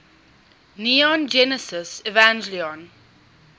neon genesis evangelion